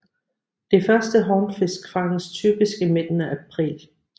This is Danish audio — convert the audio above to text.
De første hornfisk fanges typisk i midten af april